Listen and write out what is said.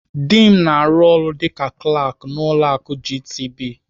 Dị m na-arụ ọrụ dịka Klak n'ụlọ akụ GTB.